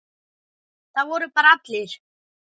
Það voru bara allir.